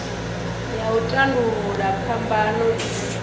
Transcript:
ya u tandulula phambano i